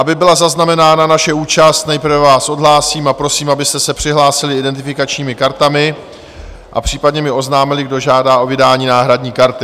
Aby byla zaznamenána naše účast, nejprve vás odhlásím a prosím, abyste se přihlásili identifikačními kartami a případně mi oznámili, kdo žádá o vydání náhradní karty.